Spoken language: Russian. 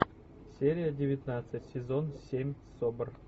серия девятнадцать сезон семь собр